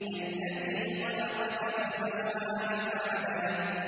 الَّذِي خَلَقَكَ فَسَوَّاكَ فَعَدَلَكَ